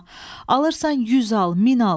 alırsan 100 al, 1000 al.